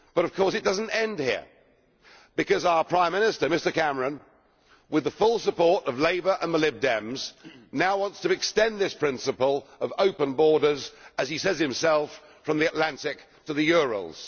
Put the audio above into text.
But of course it does not end here, because our Prime Minister, Mr Cameron, with the full support of Labour and the Lib Dems, now wants to extend this principle of open borders, as he says himself, from the Atlantic to the Urals.